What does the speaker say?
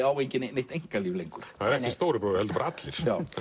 á enginn neitt einkalíf lengur það er ekki stóri bróðir heldur allir